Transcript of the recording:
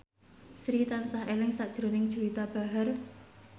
Sri tansah eling sakjroning Juwita Bahar